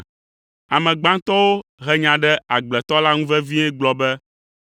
“Ame gbãtɔwo he nya ɖe agbletɔ la ŋu vevie gblɔ be,